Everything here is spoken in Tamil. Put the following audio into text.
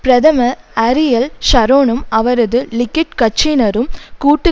பிரதமர் அரியல் ஷரோனும் அவரது லிகுட் கட்சியினரும் கூட்டு